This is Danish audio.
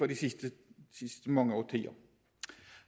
de sidste mange årtier